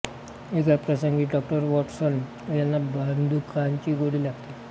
एका प्रसंगी Dr Watson यांना बंदुकाची गोळी लागते